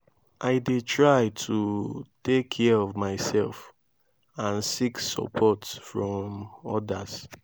i dey try to take care of myself and seek support from odas.